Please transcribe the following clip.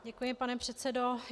Děkuji, pane předsedo.